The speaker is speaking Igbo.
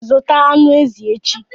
Zụta anụ ezi echi!